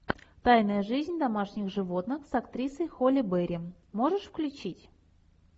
тайная жизнь домашних животных с актрисой холли бери можешь включить